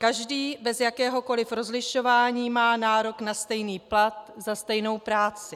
Každý, bez jakéhokoli rozlišování, má nárok na stejný plat za stejnou práci.